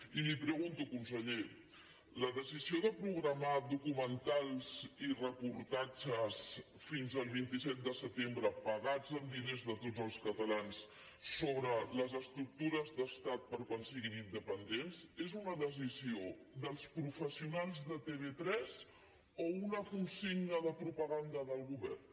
i li pregunto conseller la decisió de programar documentals i reportatges fins al vint set de setembre pagats amb diners de tots els catalans sobre les estructures d’estat per a quan siguin independents és una decisió dels professionals de tv3 o una consigna de propaganda del govern